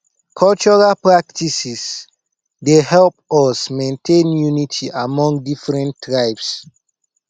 cultural practices dey help us maintain unity among different tribes